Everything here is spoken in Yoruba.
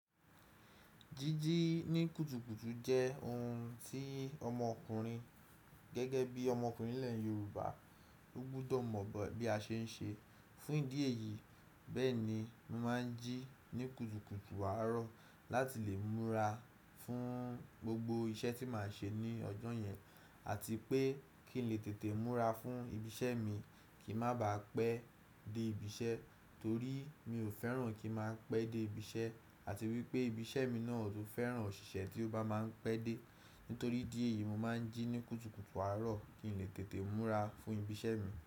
Jíjí ní kùtùkùtù jẹ́ ohun tí ọmọkùnrin gẹ́gẹ́ bí ọmọkùnrin ni ilẹ̀ Yorùbá, ó gbúdọ̀ mọ̀ bí a ṣe ń ṣe. Fún ìdí èyí, bẹ́ẹ̀ni, mo máa ń jí ní kùtùkùtù àárọ̀ láti lè múra fún gbogbo iṣẹ́ tí màá ṣe ní ọjọ́ yẹn. Àti pé kí n lè tètè múra fún ibi iṣẹ́ mi, kí mà baá pẹ́ dé ibi iṣẹ́, btorí mi ò fẹ́ràn kí màá ń pẹ́ dé ibi iṣẹ́ àti wípé ibi iṣẹ́ mi náà ò fẹ́ràn òṣìṣẹ́ tí ó bá má ń pẹ́ dé. Nítorí dí èyí, mo máa ń jí ní kùtùkùtù àárọ̀ kí n lè tètè múra fún ibi iṣẹ́ mi.